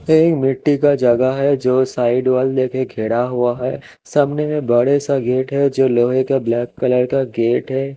यही मिटटी का जगह है जो साइड वाल लेके खेडा हुआ है सामने में बड़ा सा गेट है जो लोहे का ब्लैक कलर का गेट है।